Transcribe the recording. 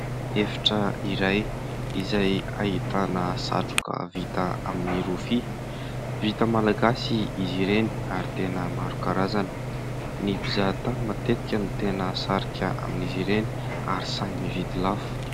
Efitra iray izay ahitana satroka vita amin'ny rofia, vita malagasy izy ireny ary tena maro karazana. Ny mpizahatany matetika no tena sarika amin'izy ireny ary sahy mividy lafo.